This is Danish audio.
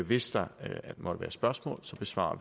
hvis der måtte være spørgsmål besvarer